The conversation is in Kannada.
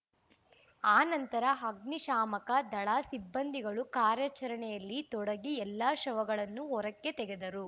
ಆನಂತರ ಅಗ್ನಿ ಶಾಮಕ ದಳ ಸಿಬ್ಬಂದಿಯೂ ಕಾರ್ಯಾಚರಣೆಲ್ಲಿ ತೊಡಗಿ ಎಲ್ಲರ ಶವಗಳನ್ನು ಹೊರಕ್ಕೆ ತೆಗೆದರು